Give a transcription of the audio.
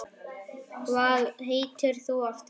Hvað heitir þú aftur?